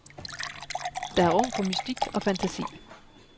Der er rum for mystik og fantasi.